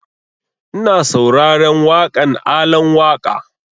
Ina sauraren waƙan Alan Waƙa